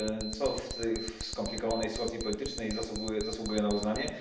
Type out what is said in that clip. co w skomplikowanej sytuacji politycznej zasługuje na uznanie.